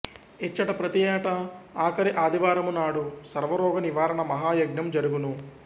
ఇచ్చట ప్రతి ఏట ఆఖరి ఆదివారము నాడు సర్వ రోగ నివారణ మహా యజ్ఞం జరుగును